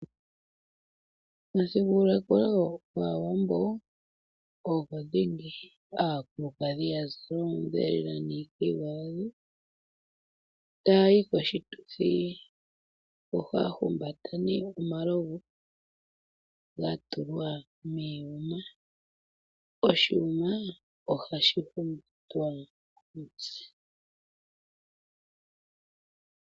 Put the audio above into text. Omuthigululwakalo gwAawambo ogwo dhingi. Aakulukadhi ya zala oonguwo lela niikayiwa yadho taa yi koshituthi, ohaa humbata nee omalovu ga tulwa miiyuma. Oshiyuma ohashi humbatwa komutse.